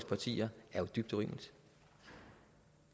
partier er jo dybt urimeligt